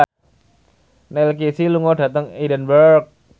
Neil Casey lunga dhateng Edinburgh